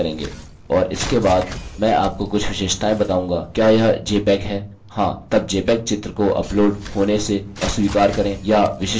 और इसके बाद मैं आपको कुछ विशेषताएँ बताऊँगा क्या यह जपेग है हाँ तब jpeg चित्र को अपलोड होने से अस्वीकार करें या विशिष्ट फाइल साइज़ को अस्वीकार करें